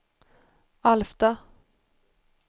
Alfta